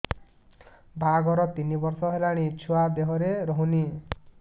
ବାହାଘର ତିନି ବର୍ଷ ହେଲାଣି ଛୁଆ ଦେହରେ ରହୁନି